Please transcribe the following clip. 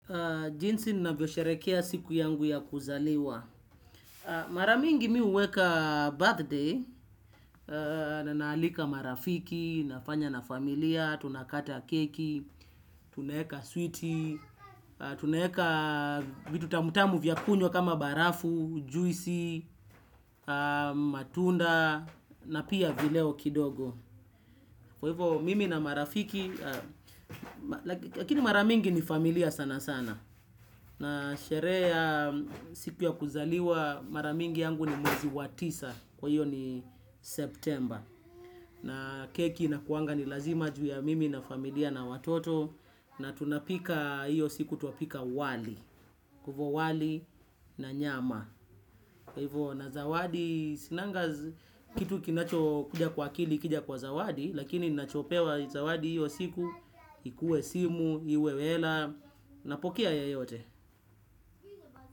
Jinsi ninavyo sherehekea siku yangu ya kuzaliwa. Maramingi mimi huweka birthday. Naalika marafiki, nafanya na familia, tunakata keki, tunaeka switi, tunaeka vitu tamutamu vya kunywa kama barafu, juisi, matunda, na pia vileo kidogo. Kwa hivyo mimi na marafiki, lakini mara mingi ni familia sana sana. Na sherehe ya siku ya kuzaliwa mara mingi yangu ni mwezi wa tisa. Kwa hiyo ni September. Na keki inakuanga ni lazima juu ya mimi na familia na watoto. Na tunapika hiyo siku twapika wali. Kwa hivyo wali na nyama. Kwa hivyo na zawadi, sinanga kitu kinacho kuja kwa akili ikija kwa zawadi. Lakini ninachopewa zawadi hiyo siku ikue simu, iwe hela. Napokea yeyote.